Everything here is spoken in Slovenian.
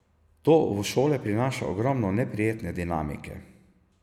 To v šole prinaša ogromno neprijetne dinamike.